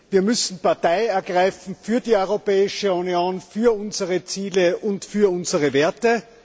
Wir müssen Partei ergreifen für die Europäische Union, für unsere Ziele und für unsere Werte.